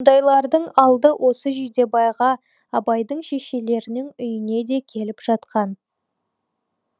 мұндайлардың алды осы жидебайға абайдың шешелерінің үйіне де келіп жатқан